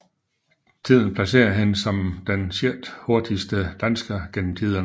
Tiden placerer hende som den sjettehurtigste dansker gennem tiderne